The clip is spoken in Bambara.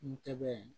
N tɛ bɛ